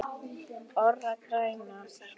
ORA grænar